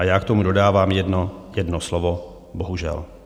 A já k tomu dodávám jedno slovo bohužel.